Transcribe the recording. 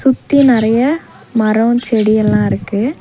சுத்தி நெறைய மரோ செடி எல்லா இருக்கு.